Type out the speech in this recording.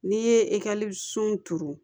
N'i ye ekɔlisow turu